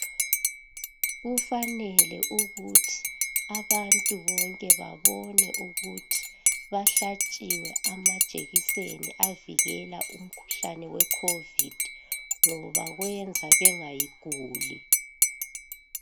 Kufanele ukuthi abantu bonke babone ukuthi bahlatshiwe amajekiseni avikela umkhuhlane we COVID .Ngoba kwenza bengayiguli.